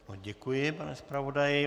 Děkuji, pane zpravodaji.